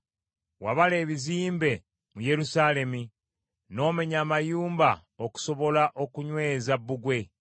Wabala ebizimbe mu Yerusaalemi n’omenya amayumba okusobola okunyweza bbugwe.